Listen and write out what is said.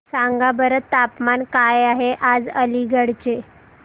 सांगा बरं तापमान काय आहे आज अलिगढ चे